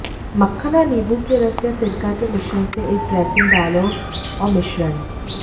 मक्खन और नींबू के रस या सिरका के मिश्रण से एक ड्रेसिंग डालो और मिश्रण